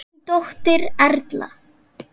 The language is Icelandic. Þín dóttir Erla.